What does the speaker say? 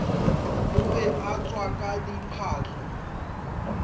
o be a tswaka diphahlo